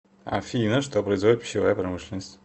афина что производит пищевая промышленность